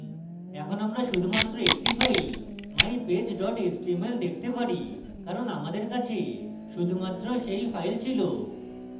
এখানে আমরা শুধুমাত্র একটি file mypage html দেখতে পারি কারণ আমাদের কাছে শুধুমাত্র সেই file file